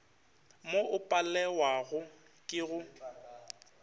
mo o palewago ke go